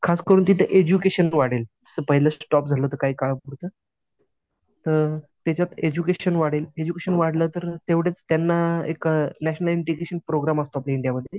खास करून तिथं एडज्युकेशन वाढेल. पहिलं स्टॉप झालं होतं काही काळापुरतं तर त्याच्यात एडज्युकेशन वाढेल एडज्युकेशन वाढलं तर तेवढेच त्यांना एक नॅशनल इंटीग्रेशन प्रोग्रॅम असतो आपल्या इंडियामध्ये